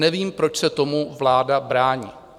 Nevím, proč se tomu vláda brání.